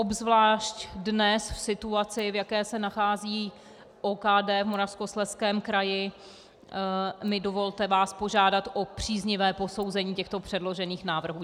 Obzvlášť dnes v situaci, v jaké se nachází OKD v Moravskoslezském kraji, mi dovolte vás požádat o příznivé posouzení těchto předložených návrhů.